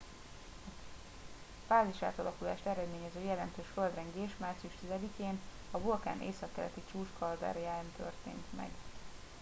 a fázisátalakulást eredményező jelentős földrengés március 10 én a vulkán északkeleti csúcskalderáján történt